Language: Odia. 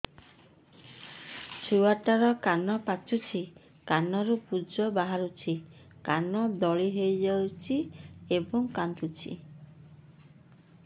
ଛୁଆ ଟା ର କାନ ପାଚୁଛି କାନରୁ ପୂଜ ବାହାରୁଛି କାନ ଦଳି ହେଉଛି ଏବଂ କାନ୍ଦୁଚି